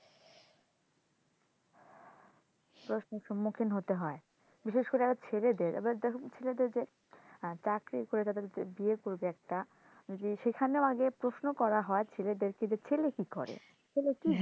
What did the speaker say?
প্রশ্নের সমস্যার সম্মুখীন হতে হয় বিশেষ করে ছেলেদের আবার দেখো ছেলেদের যে চাকরি কইরা তারা যে বিয়ে করবে একটা ওই সেখানেও আগে প্রশ্ন করা হয় ছেলেদের কে ছেলে কি করে? ছেলে কি করে